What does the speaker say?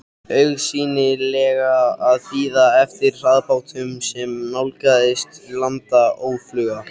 Augsýnilega að bíða eftir hraðbátnum sem nálgaðist land óðfluga.